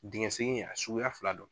Dingɛ segin a suguya fila don